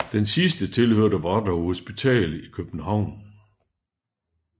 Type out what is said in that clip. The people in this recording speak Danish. Den sidste tilhørte Vartov hospital i København